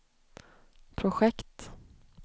projekt